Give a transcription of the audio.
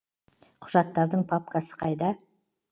құжаттардың папкасы қайда